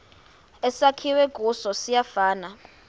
esakhiwe kuso siyafana